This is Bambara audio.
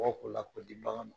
Kɔgɔ k'o la k'o di bagan ma